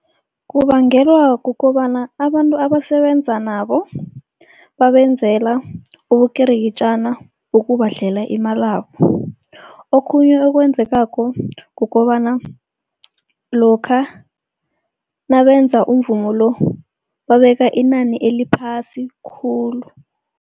Kubangelwa kukobana abantu abasebenza nabo babenzela ubukirikitjana ngokubadlela imalabo. Okhunye okwenzekako kukobana lokha nabenza umvumo lo babeka inani eliphasi khulu.